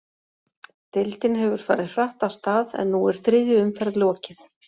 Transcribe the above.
Deildin hefur farið hratt af stað, en nú er þriðju umferð lokið.